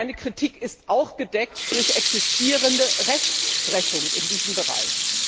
Meine Kritik ist auch gedeckt durch existierende Rechtsprechung in diesem Bereich.